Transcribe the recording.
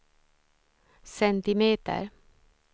centimeter